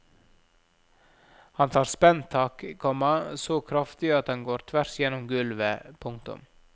Han tar spenntak, komma så kraftig at han går tvers gjennom gulvet. punktum